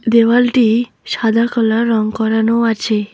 দেওয়ালটি সাদা কালার রং করানো আছে।